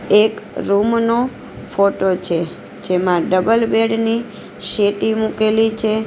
એક રૂમ નો ફોટો છે જેમાં ડબલ બેડ ને સેટી મૂકેલી છે.